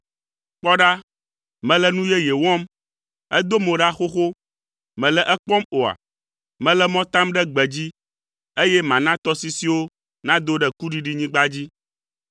Kpɔ ɖa, mele nu yeye wɔm! Edo mo ɖa xoxo, mèle ekpɔm oa? Mele mɔ tam ɖe gbedzi, eye mana tɔsisiwo nado ɖe kuɖiɖinyigba dzi.